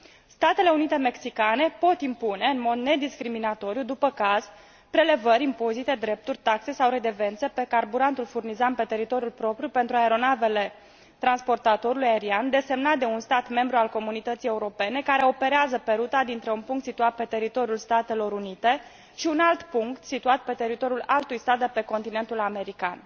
Statele Unite Mexicane pot impune, în mod nediscriminatoriu, după caz, prelevări, impozite, drepturi, taxe sau redevențe pe carburantul furnizat pe teritoriul propriu pentru aeronavele transportatorului aerian desemnat de un stat membru al Comunității Europene care operează pe ruta dintre un punct situat pe teritoriul Statelor Unite și un alt punct situat pe teritoriul altui stat de pe continentul american.